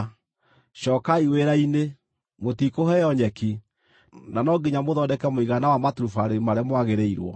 Cookai wĩra-inĩ. Mũtikũheo nyeki, na no nginya mũthondeke mũigana wa maturubarĩ marĩa mwagĩrĩirwo.”